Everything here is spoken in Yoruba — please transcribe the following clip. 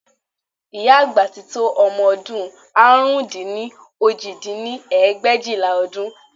Ìyá àgbà ti tó ọmọ ọdún àrún dín ní òjì dín ní ẹgbẹ̀éjìlá ọdún